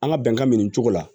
An ka bɛnkan min nin cogo la